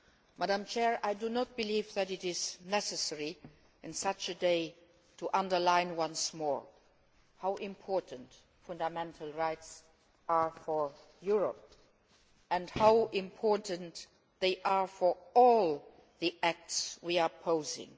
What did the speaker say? Madam President, I do not believe that it is necessary on such a day to underline once more how important fundamental rights are for Europe and how important they are for all the acts we are proposing.